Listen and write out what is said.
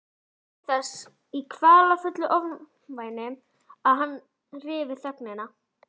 Ég beið þess í kvalafullu ofvæni að hann ryfi þögnina.